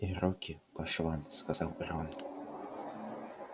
и руки по швам сказал рон